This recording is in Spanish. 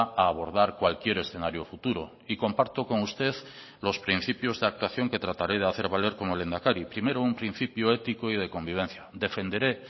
a abordar cualquier escenario futuro y comparto con usted los principios de actuación que trataré de hacer valer como lehendakari primero un principio ético y de convivencia defenderé